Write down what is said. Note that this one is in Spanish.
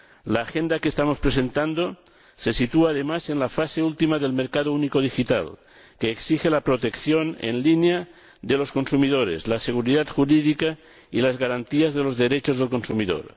La agenda que estamos presentando se sitúa, además, en la fase última del mercado único digital, que exige la protección en línea de los consumidores, la seguridad jurídica y las garantías de los derechos del consumidor.